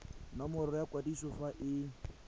nomoro ya kwadiso fa e